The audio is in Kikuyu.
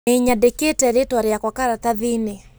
Nĩnyandĩkĩte rĩtwa rĩakwa karatathiinĩ